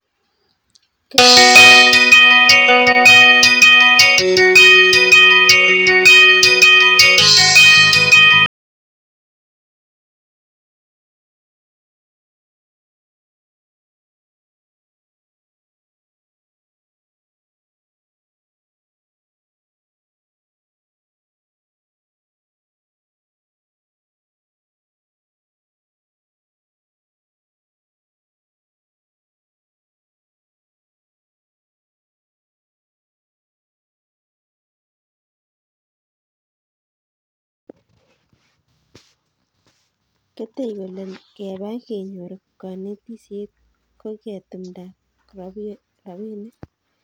Ketei kole keba kenyor konetisiet ko ketumda robinik